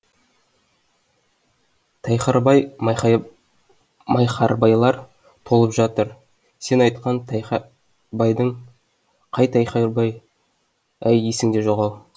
тайхарбай майхарбайлар толып жатыр сен айтқан тайхарбайдың қай тайхарбай әй есіңде жоқ ау